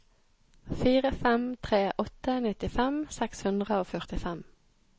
fire fem tre åtte nittifem seks hundre og førtifem